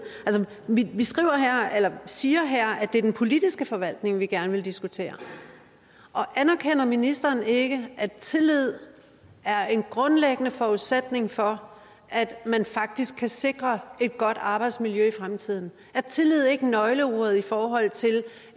vi siger her at det er den politiske forvaltning vi gerne vil diskutere anerkender ministeren ikke at tillid er en grundlæggende forudsætning for at man faktisk kan sikre et godt arbejdsmiljø i fremtiden er tillid ikke nøgleordet i forhold til